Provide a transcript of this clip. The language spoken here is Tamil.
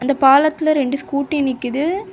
பாலத்துல ரெண்டு ஸ்கூட்டி நிக்கிது.